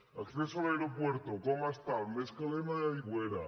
acceso al aeropuerto com està el més calent a l’aigüera